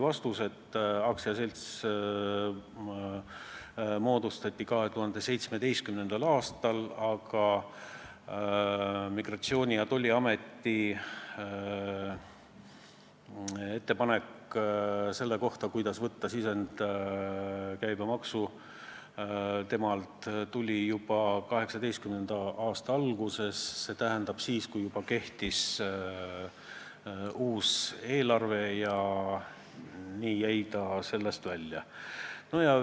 Vastus: aktsiaselts moodustati 2017. aastal, aga Maksu- ja Tolliameti ettepanek selle kohta, kuidas võtta sisendkäibemaksu, tuli juba 2018. aasta alguses, st siis, kui kehtis juba uus eelarve, ja nii jäi ta sellest välja.